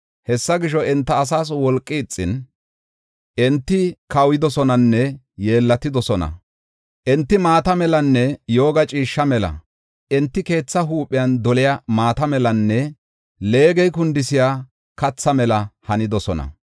Hessa gisho, enta asaas wolqay ixin, enti kawuyidosonanne yeellatidosona. Enti maata melanne yooga ciishsha mela. Enti keethaa huuphen doliya maata melanne leegey kundisiya katha mela hanidosona.